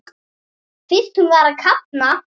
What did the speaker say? Finnst hún vera að kafna.